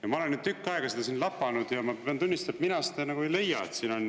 Ja ma olen nüüd tükk aega seda siin lapanud ja ma pean tunnistama, et mina seda ei leia.